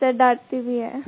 जी sir डांटती भी हैं